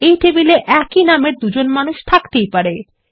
একই টেবিলে একই নামের দুজন মানুষ থাকতেই পারে